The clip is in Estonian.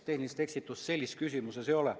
Tehnilist eksitust sellises küsimuses ei ole.